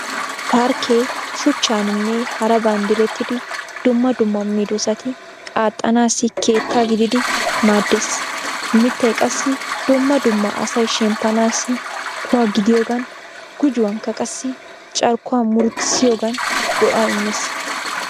Parkkee shuchchaaninne haraban direttidi dumma dumma medoosati qatanaassi keetta gididi maaddeees. Mittay qassi dumma dumma asay shemppanaassi kuwa gidiyogan gujuwankka qassi carkkuwa murutissiyogan go'aa immees.